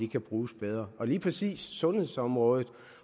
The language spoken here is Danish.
kan bruges bedre og på lige præcis sundhedsområdet